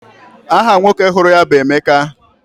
Aha nwoke hụrụ ya bụ Emeka.